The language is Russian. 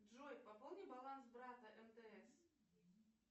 джой пополни баланс брата мтс